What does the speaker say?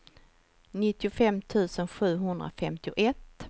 nittiofem tusen sjuhundrafemtioett